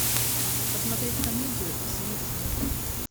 посмотреть комедию с вициным